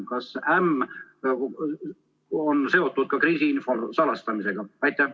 Kas "äm" on seotud ka kriisiinfo salastamisega?